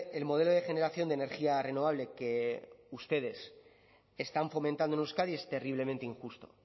el modelo de generación de energía renovable que ustedes están fomentando en euskadi es terriblemente injusto